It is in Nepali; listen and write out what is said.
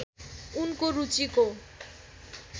उनको रुचिको